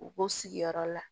U b'u sigiyɔrɔ la